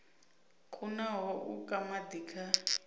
kunaho u ka madi kha